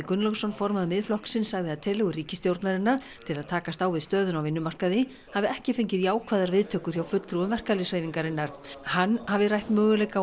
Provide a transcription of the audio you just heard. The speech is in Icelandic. Gunnlaugsson formaður Miðflokksins sagði að tillögur ríkisstjórnarinnar til að takast á við stöðuna á vinnumarkaði hafi ekki fengið jákvæðar viðtökur hjá fulltrúum verkalýðshreyfingarinnar hann hafi rætt möguleika